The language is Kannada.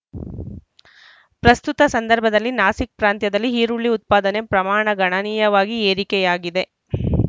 ಪ್ರಸ್ತುತ ಸಂದರ್ಭದಲ್ಲಿ ನಾಸಿಕ್‌ ಪ್ರಾಂತ್ಯದಲ್ಲಿ ಈರುಳ್ಳಿ ಉತ್ಪಾದನೆ ಪ್ರಮಾಣ ಗಣನೀಯವಾಗಿ ಏರಿಕೆಯಾಗಿದೆ